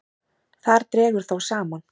Þar dregur þó saman.